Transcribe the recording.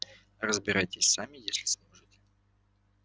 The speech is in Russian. разбирайтесь сами если сможете